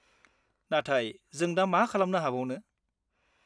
नाथाय, जों दा मा खालामनो हाबावनो?